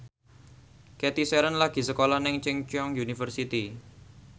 Cathy Sharon lagi sekolah nang Chungceong University